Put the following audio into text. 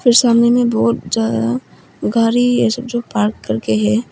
सामने बहोत ज्यादा गारी ऐसे जो पार्क करके है।